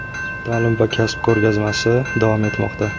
"Ta’lim va kasb" ko‘rgazmasi davom etmoqda.